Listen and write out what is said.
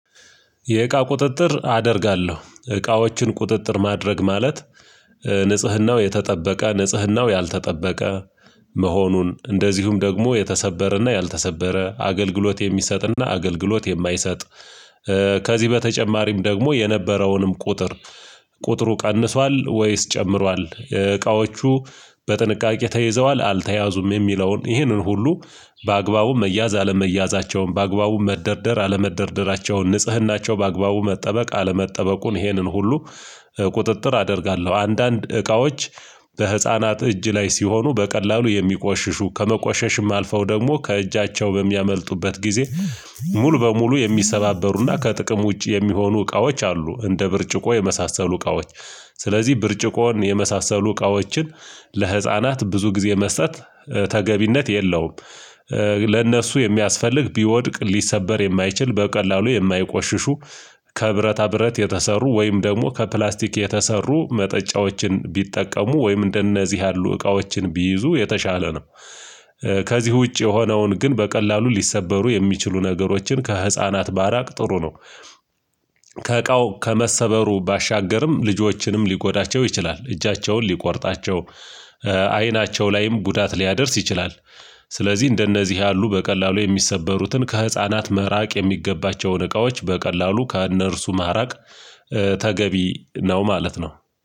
የእቃ ቁጥጥር አደርጋለሁ እቃዎችን ቁጥጥር ማድረግ ማለት ንጽህናው የተጠበቀ ንጽህናው ያልተጠበቀ መሆኑን እንደዚሁም ደግሞ የተሰበረና ያልተሰበረ አገልግሎት የሚሰጥና አገልግሎት የማይሰጥ ከዚህ በተጨማሪም ደግሞ የነበረውንም ቁጥር ቁጥሩ ቀንሷል ወይስ ጨምሯል እቃዎቹ በጥንቃቄ ተይዘዋል አልተያዙም የሚለውን ይህንን ሁሉ በአግባቡ መያዝ አለመያዛቸውን በአግባቡ መደርደር አለመደርደራቸውን ንጽህናቸው በአግባቡ መጠበቅ አለመጠበቁን ይሄንን ሁሉ ቁጥጥር አደርጋለሁ። አንዳንድ እቃዎች በህፃናት እጅ ላይ ሲሆኑ በቀላሉ የሚቆሽሹ ከመቆሸሽም አልፈው ደግሞ ከእጃቸው በሚያመልጡበት ጊዜ ሙሉ በሙሉ የሚሰባበሩና ከጥቅም ውጪ የሚሆኑ እቃዎች አሉ። እንደ ብርጭቆ የመሳሰሉ እቃዎች ስለዚህ ብርጭቆን የመሳሰሉ እቃዎችን ለህፃናት ብዙ ጊዜ መስጠት ተገቢነት የለውም። ለእነሱ የሚያስፈልግ ቢወድቅ ሊሰበር የማይችል በቀላሉ የማይቆሽሹ ከብረታ ብረት የተሰሩ ወይም ደግሞ ከፕላስቲክ የተሰሩ መጠጫዎችን ቢጠቀሙ ወይም እንደነዚህ ያሉ እቃዎችን ቢይዙ የተሻለ ነው። ከዚህ ውጪ የሆነውን ግን በቀላሉ ሊሰበሩ የሚችሉ ነገሮችን ከህፃናት ማራቅ ጥሩ ነው። ከእቃው ከመሰበሩ ባሻገርም ልጆችንም ሊጎዳቸው ይችላል እጃቸውን ሊቆርጣቸው አይናቸው ላይም ጉዳት ሊያደርስ ይችላል። ስለዚህ እንደነዚህ ያሉ በቀላሉ የሚሰበሩትን ከህፃናት ምራቅ የሚገባቸውን እቃዎች በቀላሉ ከእነርሱ ማራቅ ተገቢ ነው ማለት ነው